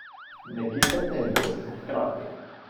Ne kihajte in vozite hkrati!